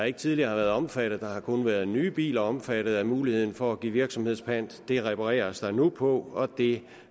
ikke tidligere har været omfattet af har kun været nye biler omfattet af muligheden for at give virksomhedspant det repareres der nu på og det